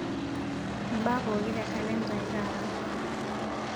mbaa pooki te kalenda aai taata